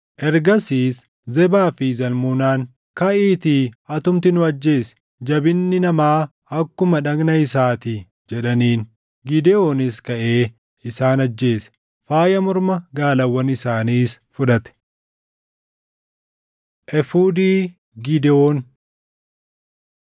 Ergasiis Zebaa fi Zalmunaan, “Kaʼiitii atumti nu ajjeesi; ‘Jabinni namaa akkuma dhagna isaatii’ ” jedhaniin. Gidewoonis kaʼee isaan ajjeese; faaya morma gaalawwan isaaniis fudhate. Efuudii Gidewoon